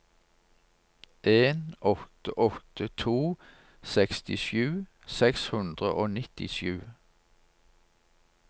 en åtte åtte to sekstisju seks hundre og nittisju